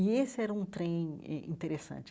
E esse era um trem in interessante.